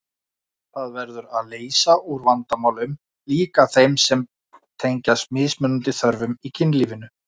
Það verður að leysa úr vandamálum, líka þeim sem tengjast mismunandi þörfum í kynlífinu.